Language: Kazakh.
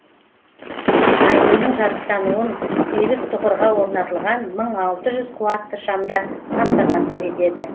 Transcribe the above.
айдынның жарықтануын сегіз тұғырға орнатылған мың алты жүз қуатты шамдар қамтамасыз етеді